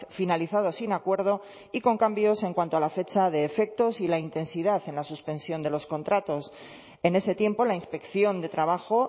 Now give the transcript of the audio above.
finalizado sin acuerdo y con cambios en cuanto a la fecha de efectos y la intensidad en la suspensión de los contratos en ese tiempo la inspección de trabajo